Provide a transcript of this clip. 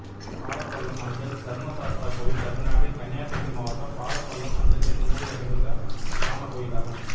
பாலப்பள்ளம் அஞ்சல் தர்மசாஸ்தா கோயில் தமிழ்நாட்டில் கன்னியாகுமரி மாவட்டம் பாலப்பள்ளம் அஞ்சல் என்னும் ஊரில் அமைந்துள்ள கிராமக் கோயிலாகும்